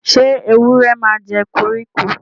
sé ewúrẹ màjẹ koriko?